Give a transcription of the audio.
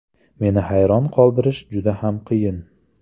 Meni hayron qoldirish juda ham qiyin.